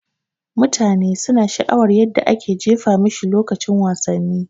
Mutane suna sha'awa yadda ake jefa mashi lokacin wasanni